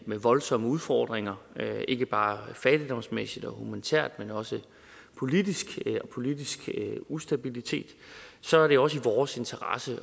med voldsomme udfordringer ikke bare fattigdomsmæssigt og humanitært men også politisk med politisk ustabilitet så er det også i vores interesse at